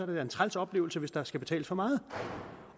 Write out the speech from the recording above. det da en træls oplevelse hvis der skal betales for meget